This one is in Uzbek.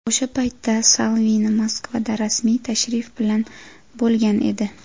O‘sha paytda Salvini Moskvada rasmiy tashrif bilan bo‘lgan edi.